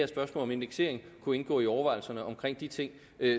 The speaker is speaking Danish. spørgsmål om indeksering kunne indgå i overvejelserne omkring de ting